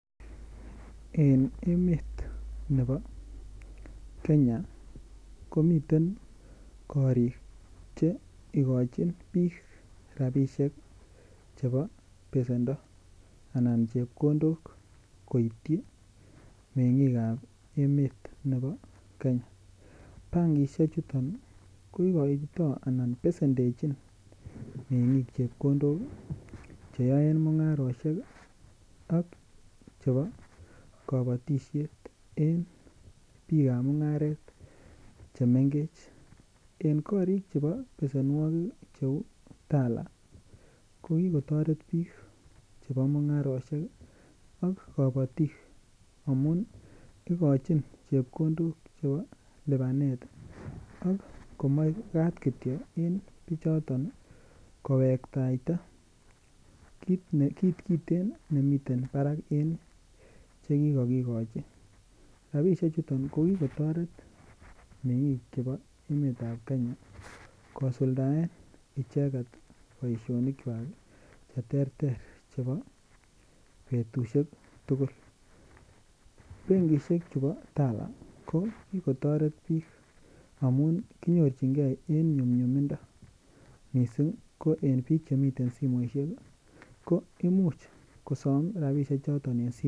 En emet nebo kenya komiten korik che ikochin biik rapisiek chebo besendo anan chepkondok koityi meng'ikab emet nebo kenya bankishechuton koikoito anan besendechin meng'ik chepkondok cheyoen mung'arosiek ak chebo kabatisiet en biikab mung'aret chemengech korik chebo besenwokik cheu Tala ko kikotoret biik chebo mung'arosiek ii ak kabatik amun ikochin chepkondok chebo lipanet ak komoe ibwat kityok en bichoton kowektaita kit kiten nemiten parak en chekikokikochi rapisechuton kokikotoret meng'ik chebo emetab kenya kosuldaen icheket boisionikwak cheterter chebo betusiek tugul bankishek chupo Tala koo kikotoret biik amun kinyorchinge en nyumnyumindo missing ko en biik chemiten simoisiek ko imuch kosom rapisiochoton en simoit.